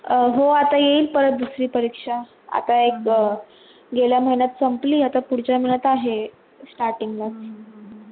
हो आता येईल परत दुसरी परीक्षा, आता एक गेल्या महिनात संपली आता पुढच्या महिन्यात आहे starting ला main